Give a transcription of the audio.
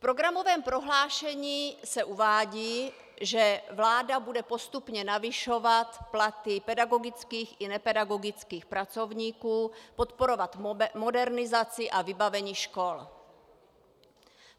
V programovém prohlášení se uvádí, že vláda bude postupně navyšovat platy pedagogických i nepedagogických pracovníků, podporovat modernizaci a vybavení škol.